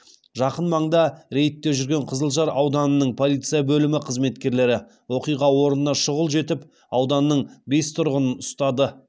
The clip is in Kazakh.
жақын маңда рейдте жүрген қызылжар ауданының полиция бөлімі қызметкерлері оқиға орнына шұғыл жетіп ауданның бес тұрғынын ұстады